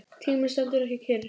Tíminn stendur ekki kyrr.